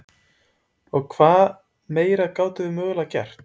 Hvað meira gátum við mögulega gert?